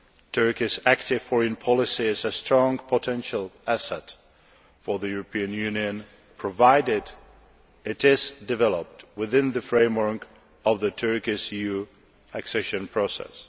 Turkey's active foreign policy is a strong potential asset for the European Union, provided it is developed within the framework of Turkey's EU accession process.